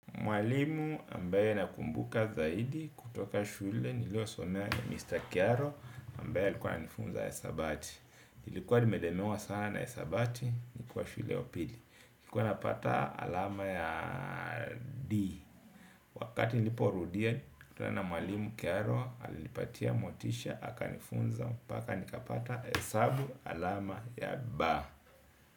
Mwalimu ambaye nakumbuka zaidi kutoka shule niliyosomea ni Mr. Kearo ambaye alikuwa anifunza hesabati. Nilikuwa nimelemewa sana hesabati nikiwa shule ya upili. Nilikuwa napata alama ya D. Wakati niliporudia nilikutana na mwalimu Kearo alinipatia motisha akanifunza mpaka nikapata hesabu alama ya B.